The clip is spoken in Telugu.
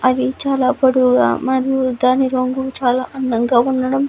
అవి చాలా పొడవుగా మరియు దాని రంగు చాలా అందంగా ఉండడం --